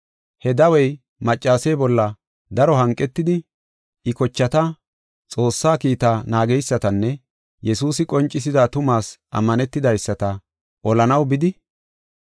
He dawey maccase bolla daro hanqetidi, I kochata, Xoossaa kiitaa naageysatanne Yesuusi qoncisida tumaas ammanetidaysata olanaw bidi.